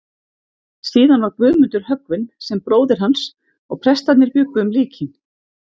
Síðan var Guðmundur höggvinn sem bróðir hans, og prestarnir bjuggu um líkin.